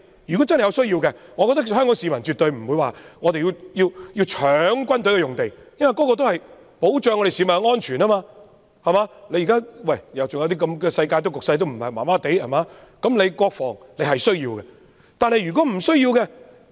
我覺得香港市民絕對不會搶軍事用地，因為設置軍事用地也是為了保障市民的安全，尤其現時的世界局勢也不穩定，國防是有需要的。